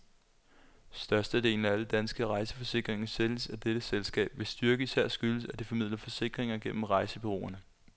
Størstedelen af alle danske rejseforsikringer sælges af dette selskab, hvis styrke især skyldes, at det formidler forsikringer gennem rejsebureauerne.